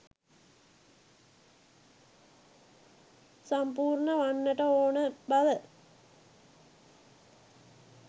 සම්පූර්ණ වන්නට ඕනෑ බව.